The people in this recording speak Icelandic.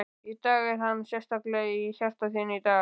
Í dag, er hann sérstaklega í hjarta þínu í dag?